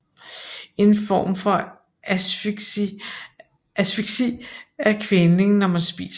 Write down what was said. En form for asfyksi er kvælning når man spiser